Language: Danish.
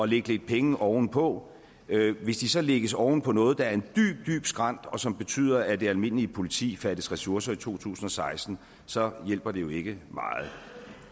lægge lidt penge ovenpå men hvis de så lægges oven på noget der er en dyb dyb skrænt og som betyder at det almindelige politi fattes ressourcer i to tusind og seksten så hjælper det jo ikke meget